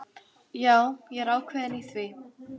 Já, ég er ákveðinn í því.